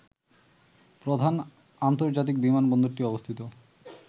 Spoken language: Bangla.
প্রধান আন্তর্জাতিক বিমানবন্দরটি অবস্থিত